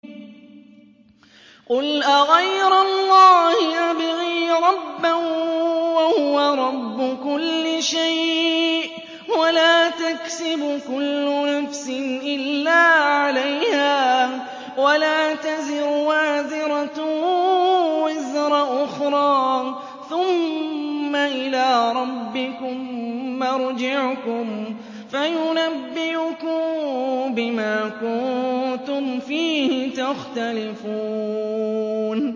قُلْ أَغَيْرَ اللَّهِ أَبْغِي رَبًّا وَهُوَ رَبُّ كُلِّ شَيْءٍ ۚ وَلَا تَكْسِبُ كُلُّ نَفْسٍ إِلَّا عَلَيْهَا ۚ وَلَا تَزِرُ وَازِرَةٌ وِزْرَ أُخْرَىٰ ۚ ثُمَّ إِلَىٰ رَبِّكُم مَّرْجِعُكُمْ فَيُنَبِّئُكُم بِمَا كُنتُمْ فِيهِ تَخْتَلِفُونَ